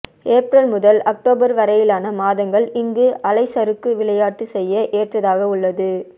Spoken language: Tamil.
ஏப்ரல் முதல் அக்டோபர் வரையிலான மாதங்கள் இங்கு அலைச்சறுக்கு விளையாட்டு செய்ய ஏற்றதாக உள்ளது